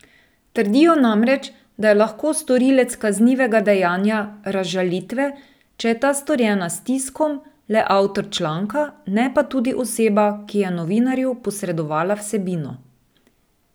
Trdijo namreč, da je lahko storilec kaznivega dejanja razžalitve, če je ta storjena s tiskom, le avtor članka, ne pa tudi oseba, ki je novinarju posredovala vsebino.